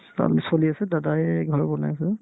কাম চলি আছে দাদায়ে ঘৰ বনাই আছে